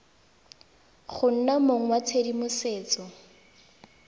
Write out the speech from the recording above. go nna mong wa tshedimosetso